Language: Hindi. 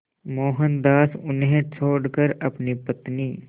मोहनदास उन्हें छोड़कर अपनी पत्नी